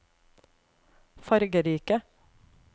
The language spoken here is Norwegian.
fargerike